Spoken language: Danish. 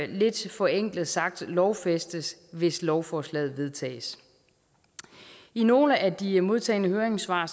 lidt forenklet sagt lovfæstes hvis lovforslaget vedtages i nogle af de modtagne høringssvar